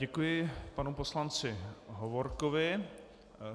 Děkuji panu poslanci Hovorkovi.